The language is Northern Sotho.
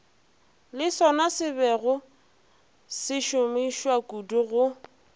le sonasebego se šomišwakudu go